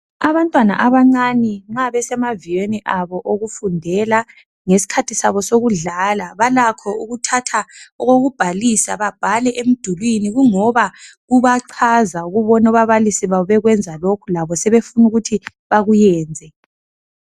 Abantwana abancane nxa besemaviyweni abo okufundela ngesikhathi sabo sokudlala balakho ukuthatha okokubhalisa babhale emdulwini kungoba kubachaza ukubona ababalisi babo besenza lokhu labo sebefuna ukuthi bakuyenze.